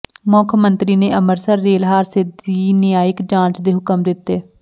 ਮੁੱਖ ਮੰਤਰੀ ਨੇ ਅੰਮ੍ਰਿਤਸਰ ਰੇਲ ਹਾਦਸੇ ਦੀ ਨਿਆਂਇਕ ਜਾਂਚ ਦੇ ਹੁਕਮ ਦਿੱਤੇ